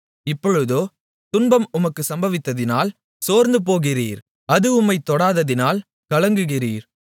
இப்பொழுதோ துன்பம் உமக்கு சம்பவித்ததினால் சோர்ந்துபோகிறீர் அது உம்மைத் தொட்டதினால் கலங்குகிறீர்